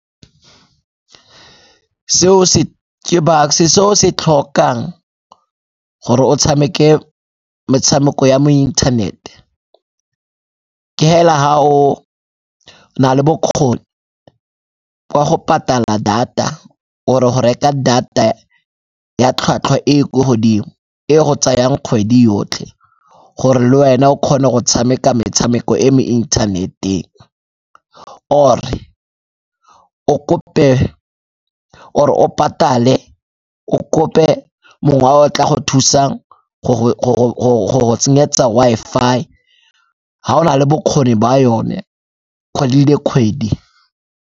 Seo se, ke Bucks-e, se o se tlhokang gore o tshameke metshameko ya mo inthanete ke hela ga o na le bokgoni kwa go patala data or-e go reka data ya tlhwatlhwa e e ko godimo e e go tsayang kgwedi yotlhe gore le wena o kgone go tshameka metshameko e e mo inthaneteng. Or-e o kope, or-e o patale o kope mongwe o tla go thusa go go tsenyeletsa Wi-Fi ha o na le bokgoni ba yone kgwedi le kgwedi.